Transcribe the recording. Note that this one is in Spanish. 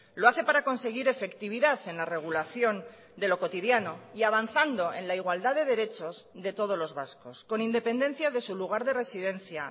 lo hace para conseguir efectividad en la regulación de lo cotidiano y avanzando en la igualdad de derechos de todos los vascos con independencia de su lugar de residencia